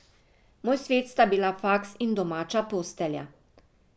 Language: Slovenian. Moj svet sta bila faks in domača postelja.